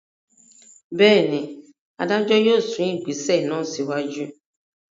Bẹ́ẹ̀ ni, adájọ́ yóò sún ìgbésẹ̀ náà síwájú.